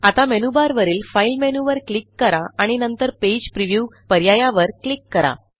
आता मेनूबारवरील Fileमेनूवर क्लिक करा आणि नंतर पेज previewपर्यायावर क्लिक करा